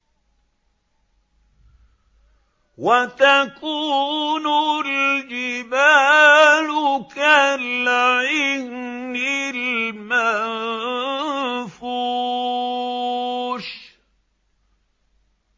وَتَكُونُ الْجِبَالُ كَالْعِهْنِ الْمَنفُوشِ